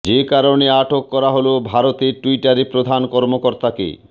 যে কারণে আটক করা হলো ভারতে টুইটারের প্রধান কর্মকর্তাকে